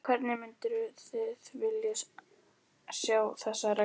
Hvernig mynduð þið vilja sjá þessar reglur?